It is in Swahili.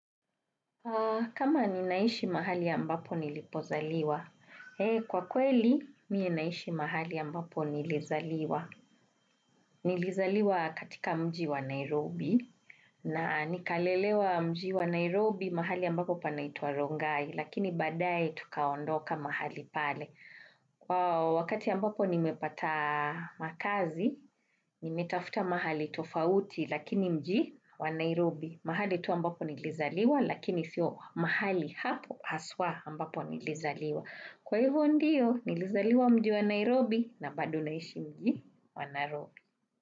Kama ninaishi mahali ambapo nilipozaliwa, kwa kweli mie naishi mahali ambapo nilizaliwa. Nilizaliwa katika mji wa Nairobi na nikalelewa mji wa Nairobi, mahali ya ambapo panaitwa Rongai, lakini baadaye tukaondoka mahali pale. Wakati ya ambapo nimepata makazi, nimetafuta mahali tofauti lakini mji wa Nairobi. Mahali tu ambapo nilizaliwa, lakini sio mahali hapo haswa ambapo nilizaliwa. Kwa hivyo ndio, nilizaliwa mji wa Nairobi na bado naishi mji wa Nairobi.